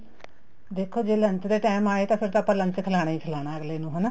ਦੇਖੋ ਜ਼ੇ lunch ਦੇ time ਆਏ ਤਾਂ ਫ਼ੇਰ ਤਾਂ ਆਪਾਂ lunch ਖਿਲਾਣਾ ਹੀ ਖਿਲਾਣਾ ਅੱਗਲੇ ਨੂੰ ਹਨਾ